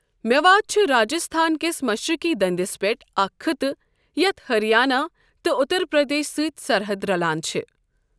میوات چھ راجستھان كِس مشرقی دندِس پیٹھ اكھ خطہٕ یتھ ہریانہٕ تہٕ اٗتر پردیشس سۭتۍ سرحد رلان چھِ ۔